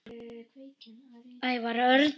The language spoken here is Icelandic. Ævar Örn